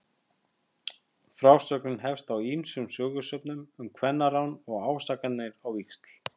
Frásögnin hefst á ýmsum sögusögnum um kvennarán og ásakanir á víxl.